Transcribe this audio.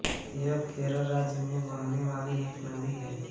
यह केरल राज्य में बहने वाली एक नदी है